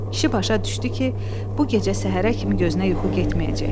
Kişi başa düşdü ki, bu gecə səhərə kimi gözünə yuxu getməyəcək.